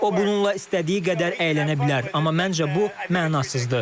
O bununla istədiyi qədər əylənə bilər, amma məncə bu mənasızdır.